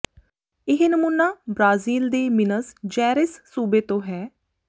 ਇਹ ਨਮੂਨਾ ਬ੍ਰਾਜ਼ੀਲ ਦੇ ਮਿਨਸ ਜੈਰੇਸ ਸੂਬੇ ਤੋਂ ਹੈ